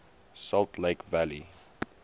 salt lake valley